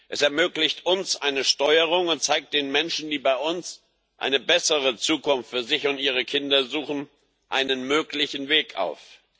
Es ermöglicht uns eine Steuerung und zeigt den Menschen, die bei uns eine bessere Zukunft für sich und ihre Kinder suchen, einen möglichen Weg auf.